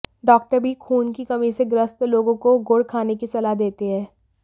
doctor भी खून की कमी से ग्रस्त लोगों को गुड़ खाने की सलाह देते हैं